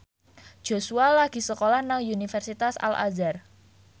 Joshua lagi sekolah nang Universitas Al Azhar